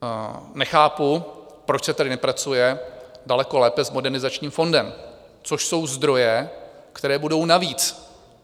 Nechápu, proč se tady nepracuje daleko lépe s Modernizačním fondem, což jsou zdroje, které budou navíc.